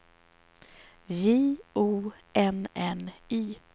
J O N N Y